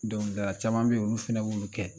Donkili dala caman bɛ ye olu fana olu kɛ